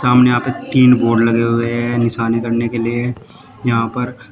सामने यहां पे तीन बोड लगे हुए हैं निशाने करने के लिए यहां पर--